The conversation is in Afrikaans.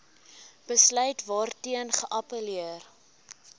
besluit waarteen geappelleer